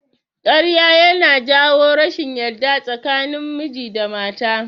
Ƙarya ya na jawo rashin yarda tsakanin miji da mata